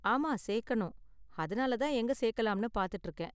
ஆமா, சேர்க்கணும், அதனால தான் எங்க சேர்க்கலாம்னு பார்த்துட்டு இருக்கேன்.